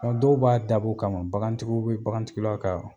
Dɔw b'a dabɔ o kama bagantigiw bɛ bagantigiw la ka